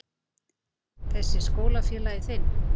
Þessi skólafélagi þinn?